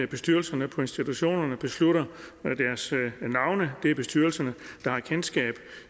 bestyrelserne på institutionerne beslutter deres navne det er bestyrelserne der har kendskab